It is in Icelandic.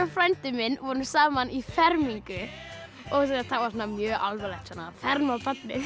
frændi minn vorum saman í fermingu og það var mjög alvarlegt svona að ferma barnið